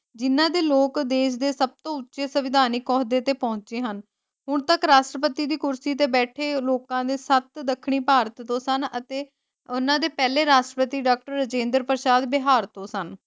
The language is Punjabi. ਜਿਨ੍ਹਾਂ ਦੇ ਲੋਕ ਦੇਸ਼ ਦੇ ਸਬਤੋ ਉਚੇ ਸੰਵਿਧਾਨਿਕ ਅਹੁਦੇ ਤੇ ਪਹੁੰਚੇ ਹਨ ਹੁਣ ਤਕ ਰਾਸ਼ਟਰਪਤੀ ਦੀ ਕੁਰਸੀ ਤੇ ਬੈਠੇ ਲੋਕਾਂ ਦੇ ਸੱਤ ਦੱਖਣੀ ਭਾਰਤ ਤੋਂ ਸਨ ਅਤੇ ਊਨਾ ਦੇ ਪਹਿਲੇ ਰਾਸ਼ਟਰਪਤੀ ਡਾਕਟਰ ਰਾਜਿੰਦਰ ਪ੍ਰਸਾਦ ਬਿਹਾਰ ਤੋਂ ਸਨ।